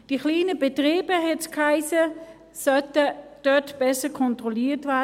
Die kleinen Betriebe, hiess es, sollten dort besser kontrolliert werden.